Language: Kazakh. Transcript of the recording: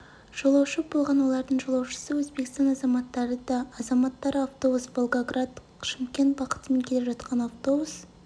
жолаушы болған олардың жолаушысы өзбекстан азаматтары да азаматтары автобус волгоград шымкент бағытымен келе жатқан автобус